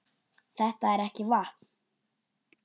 Þetta er ekki vatn!